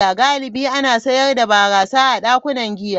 Galibi ana sayar da barasa a dakunan giya.